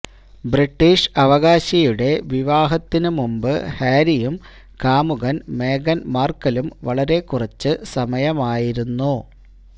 British അവകാശിയുടെ വിവാഹത്തിന് മുമ്പ് ഹാരിയും കാമുകൻ മേഗൻ മാർക്കലും വളരെ കുറച്ച് സമയമായിരുന്നു